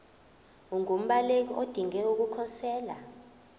ungumbaleki odinge ukukhosela